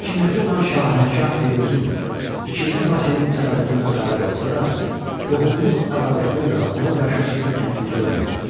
Hakimiyyətdə olan Şahənşah Firuzun II Vaçenin bu siyasətindən xəbəri olsa da, qohumluq əlaqəsinə görə ona qarşı ciddi tədbir görmürdü.